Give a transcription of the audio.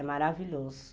É maravilhoso.